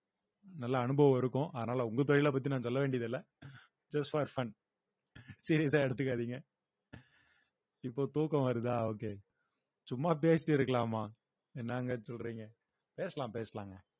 நல்ல அனுபவம் இருக்கும் அதனால உங்க தொழிலை பத்தி நான் சொல்ல வேண்டியதில்ல just for fun serious ஆ எடுத்துக்காதீங்க இப்ப தூக்கம் வருதா okay சும்மா பேசிட்டு இருக்கலாமா என்னங்க சொல்றீங்க பேசலாம் பேசலாங்க